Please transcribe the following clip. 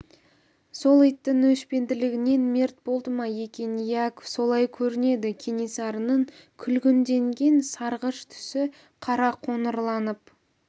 сол иттің өшпенділігінен мерт болды ма екен иә солай көрінеді кенесарының күлгінденген сарғыш түсі қара қоңырланып